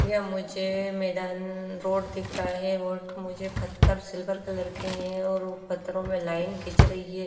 यह मुझे मैदान रोड दिख रहा है रोड मुझे पत्थर सिल्वर कलर के हैं और पत्थरों में लाइन खींच रही है।